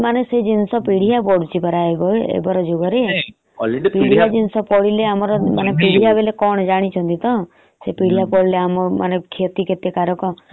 ଶାଗ ରେ ସେ ଜିନିଷ ମାନେ ପିଡିଆ ପଡୁଛି ବା ଏ ଯୁଗ ରେ। ପିଢିଆ ଜିନିଷ ପଡିଲେ ଆମର ମାନେ ପିଡିଆ ବୋଲି କଣ ଜାଣିଛନ୍ତି ତ ସେ ପିଡିଆ ପଡିଲେ ଆମର କେତେ କ୍ଷତିକାରକ ନହେଲେ ଆମକୁ ବିଭିନ୍ନ ରୋଗ କଇଁ ହଅନ୍ତା।